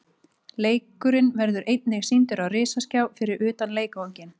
Leikurinn verður einnig sýndur á risaskjá fyrir utan leikvanginn.